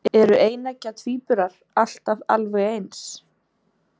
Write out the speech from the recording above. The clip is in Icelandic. Eru eineggja tvíburar alltaf alveg eins?